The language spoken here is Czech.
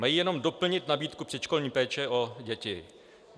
Mají jenom doplnit nabídku předškolní péče o děti.